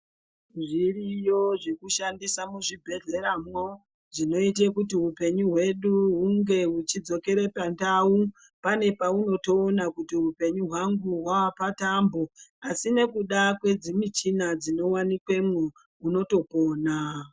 Zviriyo zvekushandisa muzvibhedhleyamwo zvinoite kuti upenyu hwedu hunge huchidzokere pandau pane paunotoona kuti hupenyu hwangu hwaapatambo asi nekuda kwedzimichina dzinowanikwemo munotopona.